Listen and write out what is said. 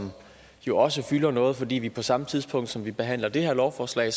jo også fylder noget fordi der på samme tidspunkt som vi behandler det her lovforslag